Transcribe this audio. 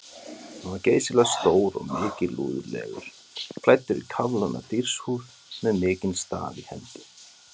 Hann var geysilega stór og mikilúðlegur, klæddur í kafloðna dýrshúð með mikinn staf í hendi.